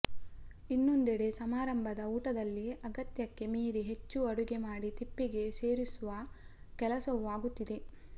ಇನ್ನೊಂದೆಡೆ ಸಮಾರಂಭದ ಊಟದಲ್ಲಿ ಅಗತ್ಯಕ್ಕೆ ಮೀರಿ ಹೆಚ್ಚು ಅಡುಗೆ ಮಾಡಿ ತಿಪ್ಪೆಗೆ ಸೇರಿಸುವ ಕೆಲಸವೂ ಆಗುತ್ತಿದೆ